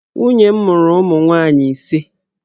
Nwunye m mụrụ ụmụ nwaanyị ise.